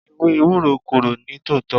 Ewé Ewúro korò ní tòótọ́.